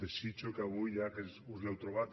desitjo que avui ja que us l’heu trobat